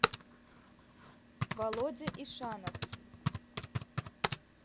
володя ишанов